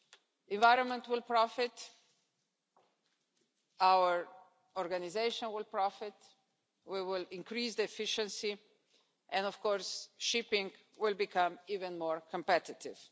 The environment will profit, our organisation will profit, we will increase efficiency, and of course shipping will become even more competitive.